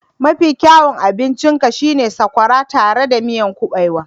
Ee! Mafi kyawun abincin ka shi ne sakwara tare da miyan kubewa